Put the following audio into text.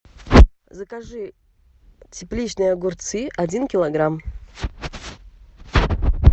закажи тепличные огурцы один килограмм